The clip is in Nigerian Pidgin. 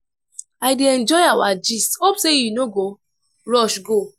i dey enjoy our gist hope say you no go rush go?